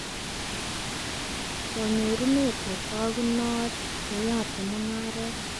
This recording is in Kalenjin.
Kanyorunet netakunot, neyotee mugaret